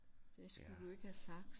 Det skulle du ikke have sagt